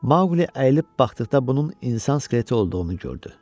Maqli əyilib baxdıqda bunun insan skeleti olduğunu gördü.